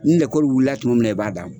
Ni lɛkɔli wulila tuma min na i b'a d'a ma.